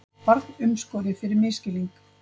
Barn umskorið fyrir misskilning